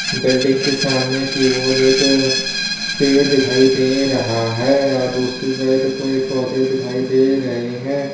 Building के सामने की ओर एक पेड़ दिखाई दे रहा है और दूसरी साइड पे पौधे दिखाई दे रहे हैं।